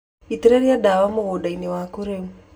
Itĩrĩria ndawa mũgũnda-inĩ waku rĩu.